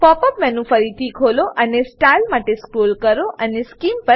pop up menu ને ફરીથી ખોલો અને સ્ટાઇલ માટે સ્ક્રોલ કરો અને સ્કીમ